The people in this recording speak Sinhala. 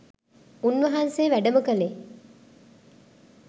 උන් වහන්සේ වැඩම කලේ